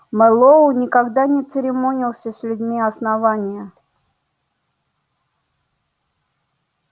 мэллоу никогда не церемонился с людьми основания